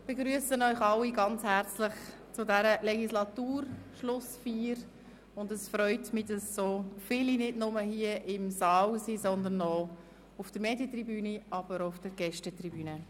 Ich begrüsse Sie ganz herzlich zu dieser Legislaturschlussfeier, und es freut mich, dass nicht nur im Saal so viele anwesend sind, sondern auch auf der Medientribüne und auf der Gästetribüne.